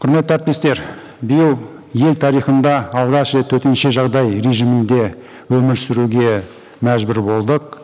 құрметті әріптестер биыл ел тарихында алғаш рет төтенше жағдай режимінде өмір сүруге мәжбүр болдық